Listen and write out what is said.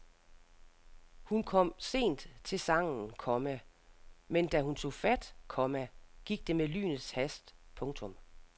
Hun kom sent til sangen, komma men da hun tog fat, komma gik det med lynets hast. punktum